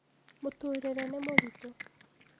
mũtũrire nĩ mũritũ